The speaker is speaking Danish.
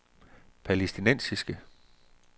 palæstinensiske